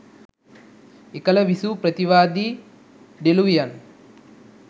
එකල විසූ ප්‍රතිවාදී ඩෙලූවියන්